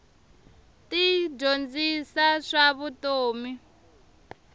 ti dyondzisa swa vutomi